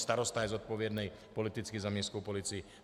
Starosta je zodpovědný politicky za městskou policii.